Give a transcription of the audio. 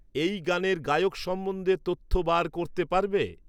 এই গাানের গায়ক সম্বন্ধে তথ্য বার করতে পারবে?